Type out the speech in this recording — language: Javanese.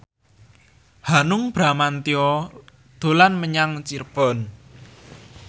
Hanung Bramantyo dolan menyang Cirebon